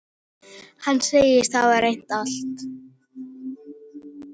Hann segist hafa reynt allt.